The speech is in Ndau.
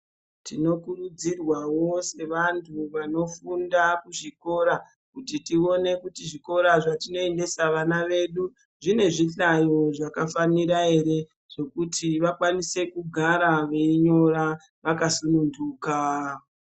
Tinokurudzirwa wawo sevantu vanofunda muzvikora kuti tione kuti zvikora zvatinoendesa vana vedu kuti zvine zvihlayo zvakafanira here kuti vakwa ise kugara vakasununduka .